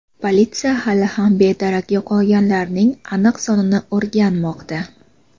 Politsiya hali ham bedarak yo‘qolganlarning aniq sonini o‘rganmoqda.